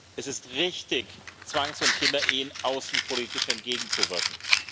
Es ist richtig, Zwangs und Kinderehen außenpolitisch entgegenzuwirken.